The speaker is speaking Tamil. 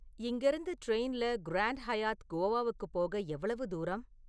இங்கேருந்து ட்ரெயின்ல கிராண்ட் ஹயாத் கோவாக்குப் போக எவ்வளவு தூரம்?